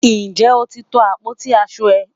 Nje o ti to àpótí aṣo rẹ?